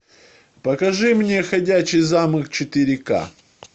покажи мне ходячий замок четыре к